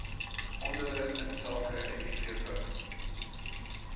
onderrig insake mivvigs